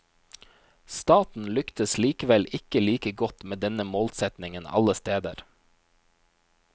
Staten lyktes likevel ikke like godt med denne målsetningen alle steder.